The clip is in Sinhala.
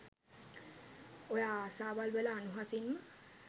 ඔය ආසාවල් වල අනුහසින්ම